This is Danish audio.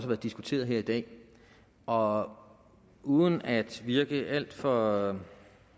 været diskuteret her i dag og uden at virke alt for